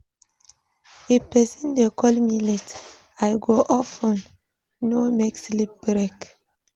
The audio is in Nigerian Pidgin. If person dey call me late, I go off phone, no make sleep break.